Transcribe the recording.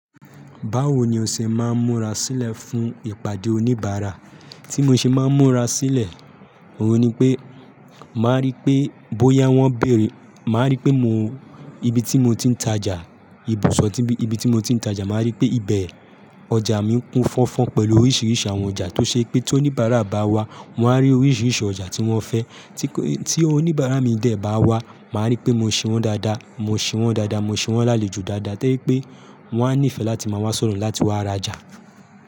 Báwo ni o ṣe máa ń múra sílẹ̀ fún ìpàdé oníbàárà? Tí mo ṣe máa ń múra sílẹ̀, òun ni pé màá rí pé bóyá wọ́n béèrè, màá rí pé mo ibi tí mo ti ń tajà, ibùsọ̀ tí ibi tí mo ti ń tajà, màá rí pé ibẹ̀ ọjà mi ń kún fọ́nfọ́n pẹ̀lú oríṣiríṣi àwọn ọjà tó ṣe pé tí oníbàárà bá wá, wọ́n á rí oríṣiríṣi ọjà tí wọ́n fẹ́. Tí oníbàárà mi dẹ̀ bá wá, màá rí pé mo ṣe wọ́n dáadáa, mo ṣe wọ́n dáadáa, mo ṣe wọ́n lálejo dáadáa, to jẹ̀pé wọ́n á nífẹ̀ẹ́ láti máa wá sọ̀dọ̀ mi láti wá rajà.